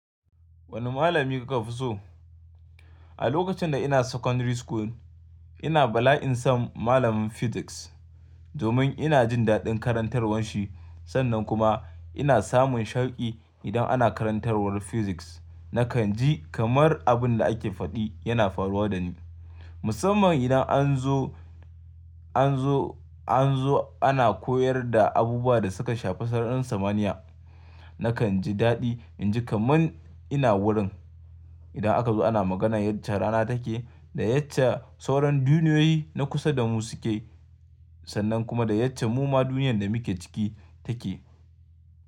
Wane malami kuka fi so? A lokacin da ina secondary school ina bala'in sam malamin physics domin ina jin daɗin karantarwar shi sannan kuma ina samun sharqi idan ana karantarwar physics. Nakan ji kamar abin da ake faɗi yana faruwa da ni musamman idan an zo, an zo, an zo ana koyar da abubuwa da suka shafi sararin samaniya. Nakan ji daɗi inji kaman ina wurin. Idan aka zo ana maganar yace rana take da yace sauran duniyoyi na kusa da mu suke sannan kuma da yace muma duniyar da muke ciki take.